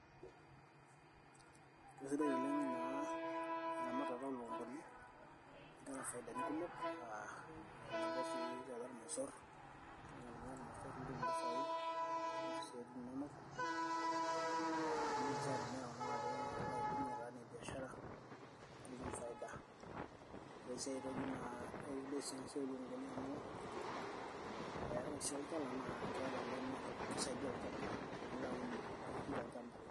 kesidai oleng' naa eramatata oolukunguni, keeta faidani kumok tebo sii tenedanyu imosor nimir nitum impisai kumok, nipik isiatin inonok idim sii atimira kuna tare nitum faida ore sii aitoki sidai naa kesidai amu keeta olchala laa idim atuunishore.